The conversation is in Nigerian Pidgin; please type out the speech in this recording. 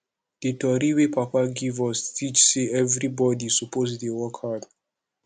di tori wey papa give us teach sey everybodi suppose dey work hard